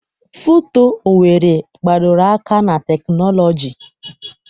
FUTO Owerri gbadoro aka na teknọlọji.